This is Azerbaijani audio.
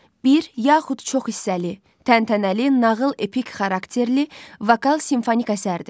Bir yaxud çox hissəli, təntənəli, nağıl epik xarakterli, vokal simfonik əsərdir.